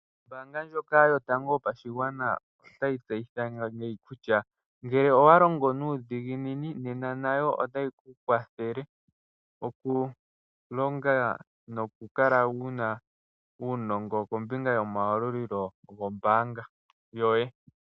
Ombaanga ndjoka yotango yopashigwana otayi tseyitha kutya, ngele owa longo nuudhiginini, nena nayo otayi ku kwathele okulonga nokukala wu na uunongo kombinga yomayalulilo goye gombaanga.